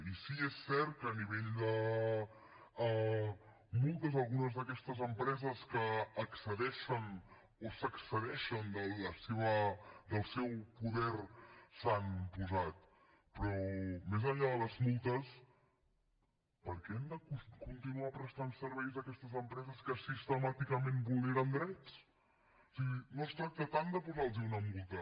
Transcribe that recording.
i sí que és cert que multes a algunes d’aquestes empreses que excedeixen o s’excedeixen del seu poder s’han posat però més enllà de les multes per què han de continuar prestant serveis aquestes empreses que sistemàticament vulneren drets o sigui no es tracta tant de posar los una multa